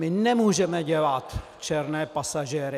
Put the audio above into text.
My nemůžeme dělat černé pasažéry.